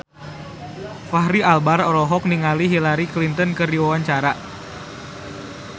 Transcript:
Fachri Albar olohok ningali Hillary Clinton keur diwawancara